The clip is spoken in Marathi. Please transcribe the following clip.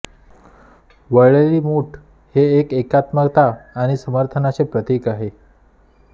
वळलेली मूठ हे एकात्मता आणि समर्थनाचे प्रतीक आहे